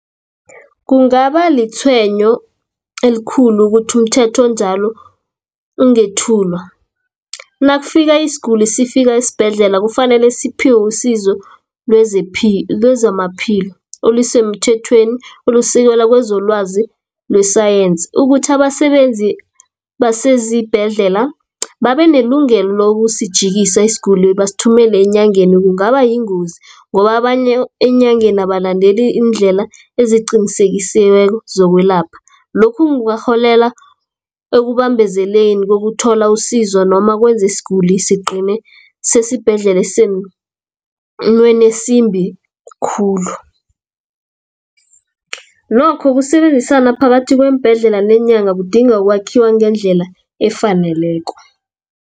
Kungaba litshwenyo elikhulu ukuthi umthetho onjalo ungethulwa. Nakufika isiguli sifika isibhedlela, kufanele siphiwe usizo lezamaphilo olisemthethweni olisekela kwezolwazi nesayensi. Ukuthi abasebenzi basezibhedlela babe nelungelo lokusijikisa isiguli basithumele enyangeni kungaba yingozi, ngoba abanye eenyangeni abalandeli iindlela eziqinisekisiweko zokwelapha. Lokhu kungarholela ekubambezeleni kokuthola usizo, noma kwenze isiguli sigcine sesibhedlela sesimeni esimbi khulu. Nokho ukusebenzisana phakathi kweembhedlela neenyanga, kudinga ukwakhiwa ngendlela efaneleko.